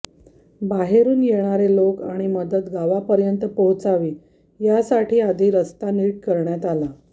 बाहेरून येणारे लोक आणि मदत गावापर्यंत पोहोचावी यासाठी आधी रस्ता नीट करण्यात आला